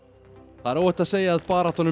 það er óhætt að segja að baráttan um